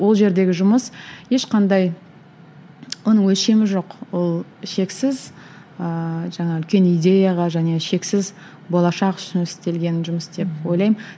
ол жердегі жұмыс ешқандай оның өлшемі жоқ ол шексіз ыыы жаңа үлкен идеяға және шексіз болашақ үшін істелген жұмыс деп ойлаймын